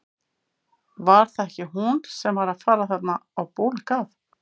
Var það ekki hún sem var að fara þarna á bólakaf?